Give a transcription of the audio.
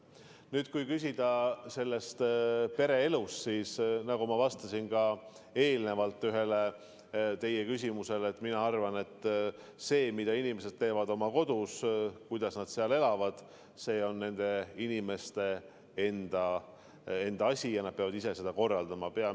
Nüüd kui küsida pereelu kohta, siis nagu ma juba vastasin ühele teie küsimusele, mina arvan, et see, mida inimesed teevad oma kodus, kuidas nad seal elavad, see on inimeste enda asi ja nad peavad ise seda korraldama.